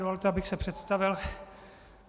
Dovolte, abych se představil.